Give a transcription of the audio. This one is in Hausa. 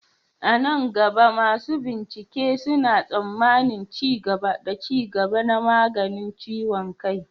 A nan gaba, masu bincike suna tsammanin ci gaba da ci gaba na maganin ciwon kai.